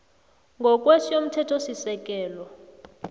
ngokwe s yomthethosisekelo